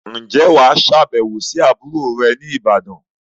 Ǹjẹ́ wà á sàbẹ̀wò sí àbúrò rẹ ní'bàdàn?